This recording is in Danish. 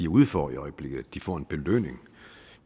ude for i øjeblikket at de får en belønning